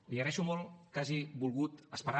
li agraeixo molt que hagi volgut esperar